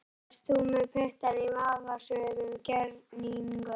Ert þú með puttana í vafasömum gjörningum?